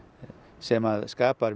sem skapar